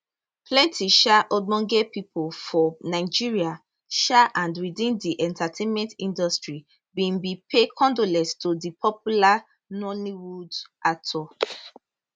plenti um ogbonge pipo for nigeria um and within di entertainment industry bin bin pay condolences to di popular nollywood actor